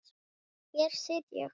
Hér sit ég.